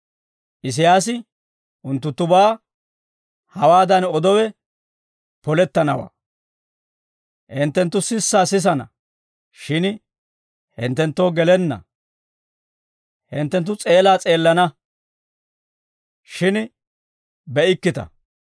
«Isiyaasi unttunttubaa hawaadan odowe polettanawaa; « ‹Hinttenttu sissaa sisana; shin hinttenttoo gelenna; hinttenttu s'eelaa s'eelana; shin be'ikkita.